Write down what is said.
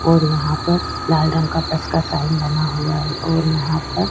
ओर यहाँ पर लाल रंग का तसका साईन बना हुआ है और यहाँ पर --